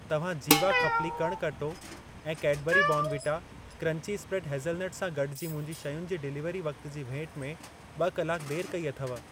तव्हां जीवा खप्ली कणक अटो ऐं Cadbury Bournvita crunchy spread hazelnut सां गॾु जी मुंहिंजी शयुनि जे डिलीवरी वक्त जी भेट में ॿ कलाक देर कई अथव।